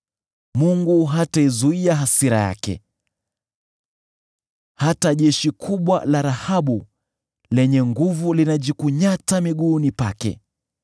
Mungu hataizuia hasira yake; hata jeshi kubwa la Rahabu lenye nguvu linajikunyata miguuni pake.